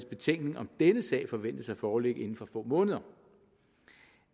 betænkning om denne sag forventes at foreligge inden for få måneder